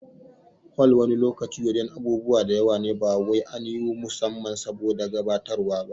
Hol wani lokacin wajen abubuwa da yawa ne ba kawai an yi su musamman saboda gabatarwa ba